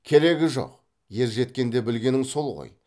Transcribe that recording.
керегі жоқ ер жеткенде білгенің сол ғой